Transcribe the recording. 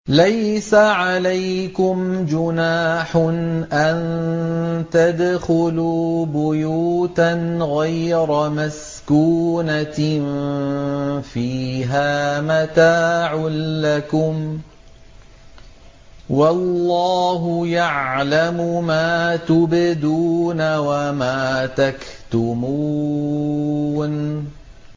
لَّيْسَ عَلَيْكُمْ جُنَاحٌ أَن تَدْخُلُوا بُيُوتًا غَيْرَ مَسْكُونَةٍ فِيهَا مَتَاعٌ لَّكُمْ ۚ وَاللَّهُ يَعْلَمُ مَا تُبْدُونَ وَمَا تَكْتُمُونَ